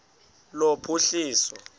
lophuhliso